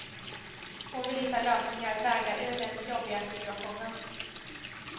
Hon vill hitta lösningar, vägar ur den jobbiga situationen.